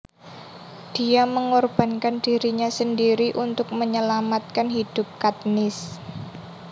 Dia mengorbankan dirinya sendiri untuk menyelamatkan hidup Katniss